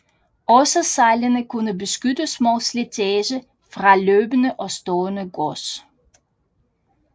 Også sejlene kunne beskyttes mod slitage fra løbende og stående gods